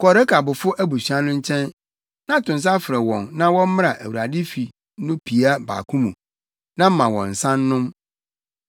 “Kɔ Rekabfo abusua no nkyɛn, na to nsa frɛ wɔn na wɔmmra Awurade fi no pia baako mu, na ma wɔn nsa nnom.”